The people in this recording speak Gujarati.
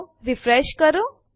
તો રીફ્રેશ કરો